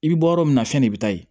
I bɛ bɔ yɔrɔ min na fɛn de bɛ taa ye